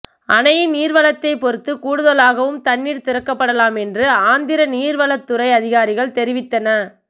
அணையின் நீர்வரத்தைப் பொறுத்து கூடுதலாகவும் தண்ணீர் திறக்கப்படலாம் என்று ஆந்திர நீர்வளத்துறை அதிகாரிகள் தெரிவித்தன